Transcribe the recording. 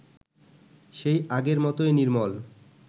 সেই আগের মতই নির্মল